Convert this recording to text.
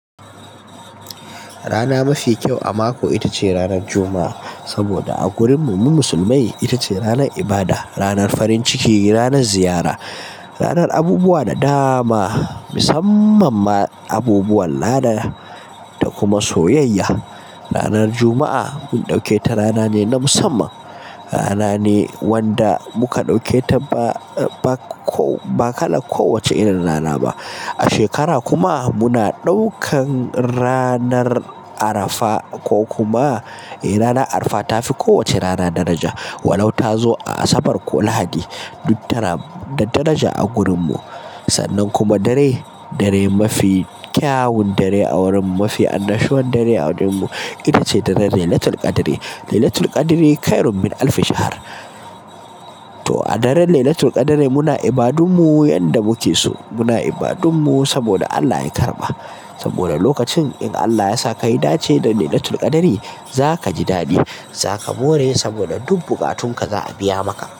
Rana mafi kyau a mako ita ce ranar Juma'a. Saboda a gurin mu, mu musulmai ita ce ranar ibada, ranar farin ciki, ranar ziyara, ranar abubuwa da dama, musamman ma abubuwan lada da kuma soyayya. Ranar Juma'a mun ɗauke ta rana ne na musamman, rana ne wanda muka ɗauke ta ba kala kowace irin rana ba. A shekara kuma muna ɗaukan ranar Arafa ko kuma eh rana Arafa ta fi kowace rana daraja. Walau ta zo a Asabar ko Lahadi duk tana da daraja a gurin mu. Sannan kuma dare, dare mafi kyawun dare a wurin mu, mafi annashuwar dare a wurin mu ita ce daren Laylatul Qadr. "Laylatul Qadri khairum min alfi shahr" to a daren Laylatul Qadr muna ibadunmu yanda muke so. Muna ibadunmu saboda Allah ya karɓa. Saboda lokacin in Allah yasa ka yi dace da Laylatul Qadr za ka ji daɗi, za ka more saboda duk bukatun ka za a biya maka.